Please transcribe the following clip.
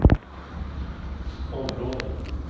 område